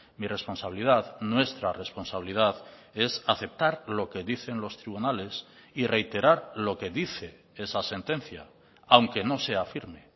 mi responsabilidad nuestra responsabilidad es aceptar lo que dicen los tribunales y reiterar lo que dice esa sentencia aunque no sea firme